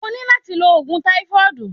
O ní láti lo òògùn táífọ́dùù.